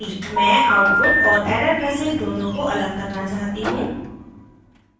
मैं output और error messages दोनों को अलग करना चाहती हूँ